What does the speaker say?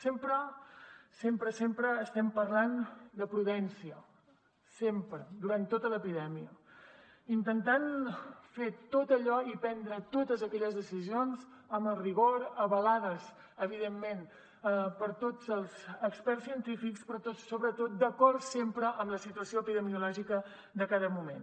sempre sempre sempre estem parlant de prudència sempre durant tota l’epidèmia intentant fer tot allò i prendre totes aquelles decisions amb el rigor avalades evidentment per tots els experts científics però sobretot d’acord sempre amb la situació epidemiològica de cada moment